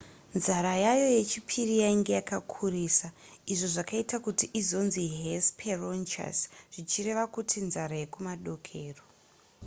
nzara yayo yechipiri yainge yakakurisa izvo zvakaita kuti izonzi hesperonychus zvichireva izvo kuti nzara yekumadokero